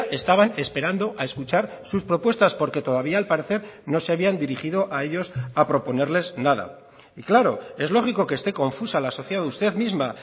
estaban esperando a escuchar sus propuestas porque todavía al parecer no se habían dirigido a ellos a proponerles nada y claro es lógico que esté confusa la sociedad usted misma